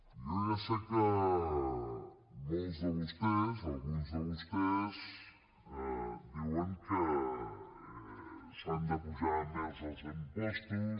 jo ja sé que molts de vostès alguns de vostès diuen que s’han d’apujar més els impostos